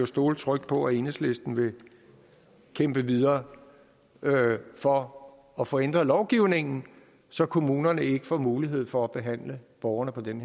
stole trygt på at enhedslisten vil kæmpe videre for at få ændret lovgivningen så kommunerne ikke får mulighed for at behandle borgerne på den